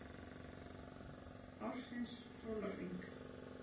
an ársins sólarhring.